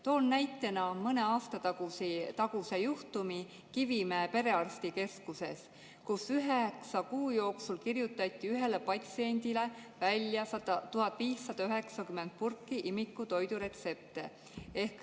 Toon näitena mõne aasta taguse juhtumi Kivimäe Perearstikeskuses, kus üheksa kuu jooksul kirjutati ühele patsiendile välja 1590 purki imikutoitu.